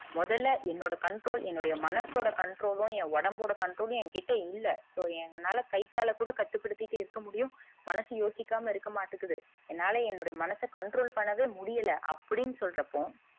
முதல்ல என்னுடைய controll என்னுடைய மனசோட controll லும் என் உடம்போட controll லும் என்கிட்ட இல்ல so எங்களால கை கால கூட கட்டு படுத்திகிட்டு இருக்க முடியும் மனசு யோசிக்காம இருக்க மாட்டுக்குது என்னால என்னுடைய மனச controll பண்ணவே முடியல அப்டின்னு சொல்றப்போ,